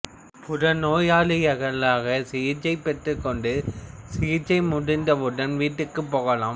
புறநோயாளியாகச் சிகிச்சை பெற்றுக் கொண்டு சிகிச்சை முடிந்தவுடன் வீட்டுக்குப் போகலாம்